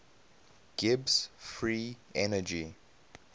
gibbs free energy